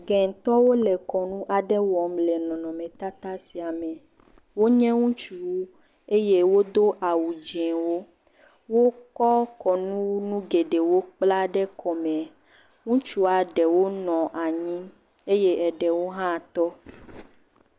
Gɛtɔwo le kɔnu aɖe wɔm le nɔnɔmetata sia me. Wonye ŋutsuwo eye wodo awu dziwo. Wokɔ kɔnuwɔnu geɖewo kpla ɖe kɔme. Ŋutsua ɖewo nɔ anyi eye ɖewo hã tɔ.